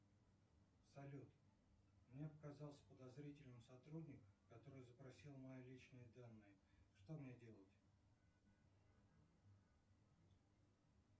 салют мне показался подозрительным сотрудник который запросил мои личные данные что мне делать